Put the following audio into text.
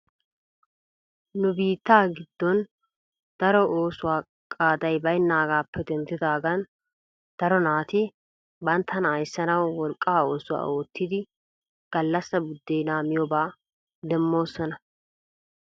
Nu biittaa giddon daro oosuwaa qaaddiya baynnaagappe denddidaagan daro naati banttana ayssanaw wolqqaa oosuwaa oottidi gallassa buddeena miyooba demmoosona .